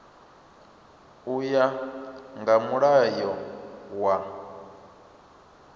u ya nga mulayo wa